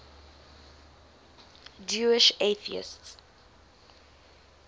jewish atheists